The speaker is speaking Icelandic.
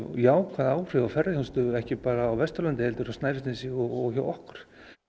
jákvæð áhrif á ferðaþjónustu ekki bara á Vesturlandi heldur á Snæfellsnesi og hjá okkur